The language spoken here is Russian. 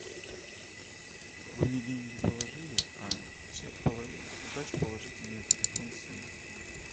вы мне деньги положили а сдачу положите на телефон сына